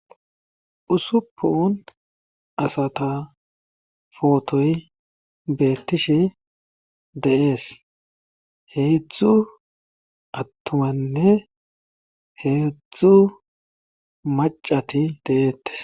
Ussupuni asata potoy betishe de'es, hedzdzu atumanne hedzdzu mac'ati de'etesi.